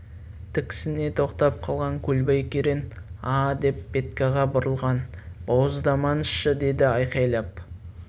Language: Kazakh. тіксіне тоқтап қалған көлбай керең а деп петькаға бұрылған бауыздамаңызшы деді айқайлап